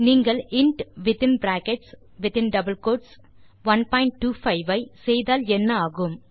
நீங்கள் int within brackets 125 ஐ செய்தால் என்ன ஆகும்